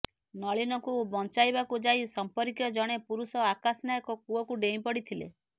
ନଳିନୀଙ୍କୁ ବଂଚାଇବାକୁ ଯାଇ ସର୍ମ୍ପକୀୟ ଜଣେ ପୁରୁଷ ଆକାଶ ନାୟକ କୂଅକୁ ଡ଼େଇଁପଡ଼ିଥିଲେ